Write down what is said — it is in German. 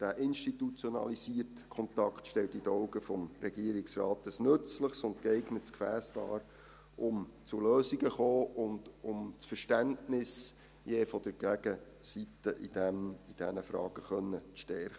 Dieser institutionalisierte Kontakt stellt in den Augen des Regierungsrates ein nützliches und geeignetes Gefäss dar, um zu Lösungen zu kommen und um das Verständnis der jeweiligen Gegenseite in diesen Fragen zu stärken.